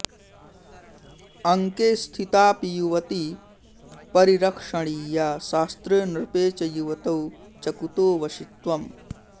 अङ्के स्थितापि युवती परिरक्षणीया शास्त्रे नृपे च युवतौ च कुतो वशित्वम्